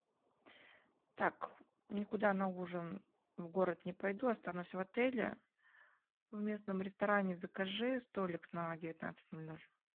так никуда на ужин в город не пойду останусь в отеле в местном ресторане закажи столик на девятнадцать ноль ноль